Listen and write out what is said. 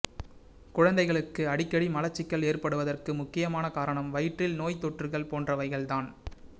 குழந்தைகளுக்கு அடிக்கடி மலச்சிக்கல் ஏற்படுவதற்கு முக்கியமான காரணம் வயிற்றில் நோய்த்தொற்றுகள் போன்றவைகள் தான்